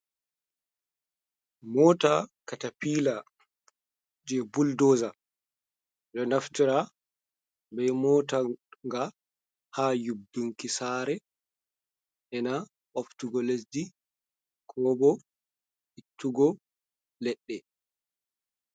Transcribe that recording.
Mota katapila jei buldoza. Ɗo naftira be mota ga ha yubbunki saare ena boftugo lesdi ko bo ittugo leɗɗe.